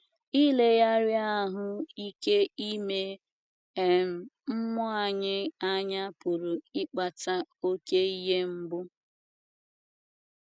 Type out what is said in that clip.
Ileghara ahụ ike ime um mmụọ anyị anya pụrụ ịkpata oké ihe mgbu